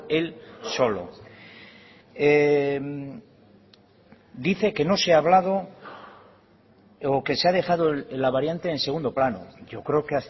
él solo dice que no se ha hablado o que se ha dejado la variante en segundo plano yo creo que